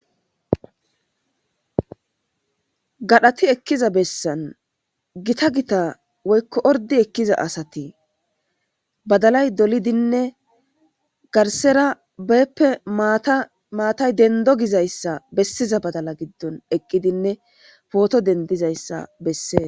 gadhati ekkiza bessan gita gita woykko ordi ekkiza asati badalay dolidinne garsera beeppe amaatay dendo gizayssa bessiza badala giddon eqqidinne pooto dendizayssa bessee